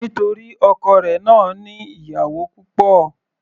Nítorí ọkọ rẹ̀ náà ní ìyàwó púpọ̀.